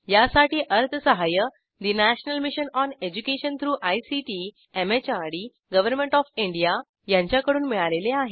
यासाठी अर्थसहाय्य national mission on education through ICT MHRD government of India यांच्याकडून मिळालेले आहे